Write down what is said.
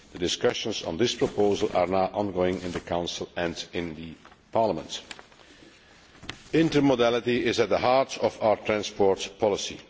Discussions on this proposal are now ongoing in the Council and in Parliament. Intermodality is at the heart of our transport policy.